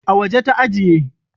A waje ta ajiye